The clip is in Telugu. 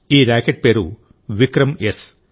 ఈ రాకెట్ పేరు విక్రమ్ఎస్